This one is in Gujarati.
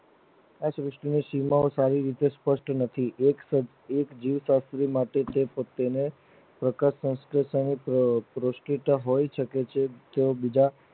આ સુષ્ટિ નો શિલાલેખ આવી રીતે સપષ્ટ નથી એક જીવ પ્રસન્ન માટેતેને પ્રકાશસંલેશન પૃસ્તિત્વ હોય શકે છે જેઓ બીજા